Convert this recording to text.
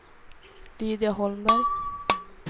Lydia Holmberg